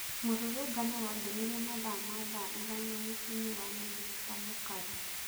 Mũrũrũngano wambirie mathaa ma thaa ithano mũciĩinĩ wa mĩnĩsta mũkaru.